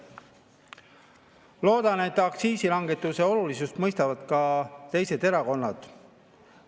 Loodan, et aktsiisilangetuse olulisust mõistavad ka teised erakonnad.